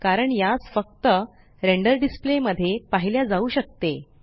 कारण यास फक्त रेंडर डिसप्ले मध्ये पाहिल्या जाऊ शकते